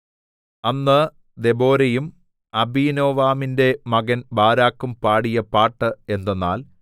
അന്ന് ദെബോരയും അബീനോവാമിന്റെ മകൻ ബാരാക്കും പാടിയ പാട്ട് എന്തെന്നാൽ